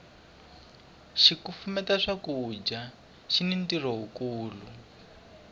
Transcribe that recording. xikufumeta swakudya xini ntirho wu kulu